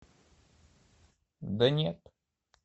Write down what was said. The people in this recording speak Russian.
да нет